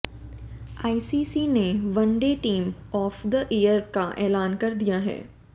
ICC ने one day team of the year का ऐलान कर दिया है